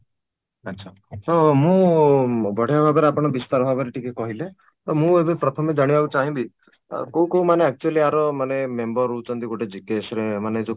ଆଚ୍ଛା ତ ମୁଁ ବଢିଆ ଭାବରେ ଆପଣ ବିସ୍ତାର ଭାବରେ ଟିକେ କହିଲେ ତ ମୁଁ ଏବେ ପ୍ରଥମେ ଜାଣିବାକୁ ଚାହିଁବି କୋଉ କୋଉ ମାନେ actually ୟାର ମାନେ member ହଉଛନ୍ତି ଗୋଟେ GKS ର ମାନେ ଯୋଉ